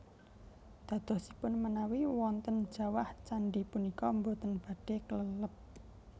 Dadosipun menawi wonten jawah candhi punika boten badhé kelelep